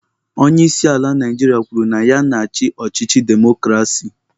Onye isi ala Naijiria kwuru na ya na-achị ọchịchị demokrasi.